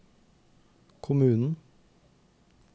kommunen